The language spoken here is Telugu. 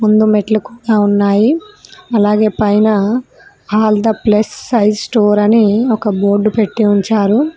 కింద మెట్లు కూడా ఉన్నాయి అలాగే పైన all the plus size store అని ఒక బోర్డు పెట్టి ఉంచారు.